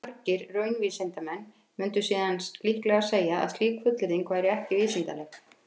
Margir raunvísindamenn mundu síðan líklega segja að slík fullyrðing væri ekki vísindaleg.